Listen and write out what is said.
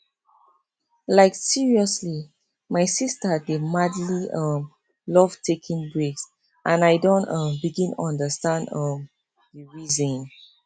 like seriously my sister dey madly um love taking breaks and i don um begin understand um the reason